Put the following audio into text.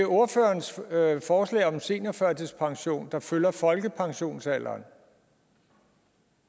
ordførerens forslag om en seniorførtidspension der følger folkepensionsalderen